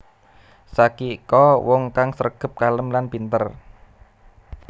Sakiko wong kang sregep kalem lan pinter